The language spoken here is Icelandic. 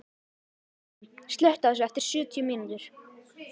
Geirrún, slökktu á þessu eftir sjötíu mínútur.